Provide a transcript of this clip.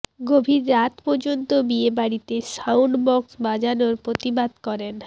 গভীর রাত পর্যন্ত বিয়ে বাড়িতে সাউন্ড বক্স বাজানোর প্রতিবাদ করেন